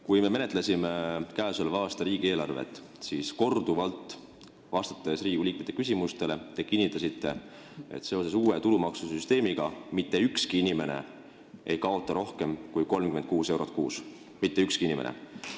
Kui me menetlesime käesoleva aasta riigieelarvet, siis te kinnitasite korduvalt, vastates Riigikogu liikmete küsimustele, et seoses uue tulumaksusüsteemiga ei kaota mitte ükski inimene rohkem kui 36 eurot kuus – mitte ükski inimene.